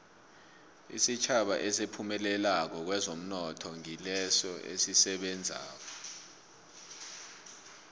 isitjhaba esiphumelelako kwezomnotho ngilesi esisebenzako